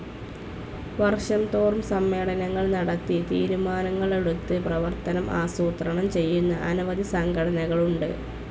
വർഷംതോറും സമ്മേളനങ്ങൾ നടത്തി തീരുമാനങ്ങളെടുത്ത് പ്രവർത്തനം ആസൂത്രണം ചെയ്യുന്ന അനവധി സംഘടനകളുണ്ട്.